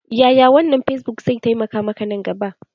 Yaya wannan fesbuk zai taimaka maka nan gaba?